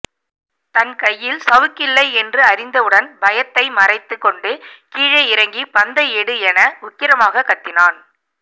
தன் கையில் சவுக்கில்லை என்று அறிந்தவுடன் பயத்தை மறைத்துக் கொண்டு கீழே இறங்கி பந்தை எடு என உக்கிரமாகக் கத்தினான்